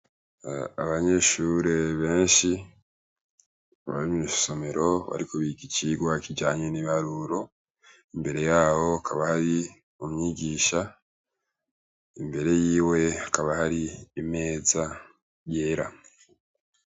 Abanyeshure benshi arimye issomero barikuba igicirwa kijanye n'ibaruro imbere yabo kabari mumyigisha imbere yiwe akaba hari imeza yera.